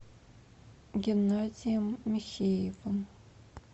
геннадием михеевым